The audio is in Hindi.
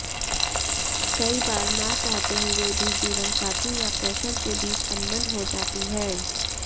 कई बार ना चाहते हुए भी जीवनसाथी या प्रेशर के बीच अनबन हो जाती है